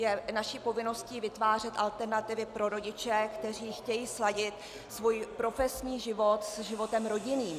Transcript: Je naší povinností vytvářet alternativy pro rodiče, kteří chtějí sladit svůj profesní život s životem rodinným.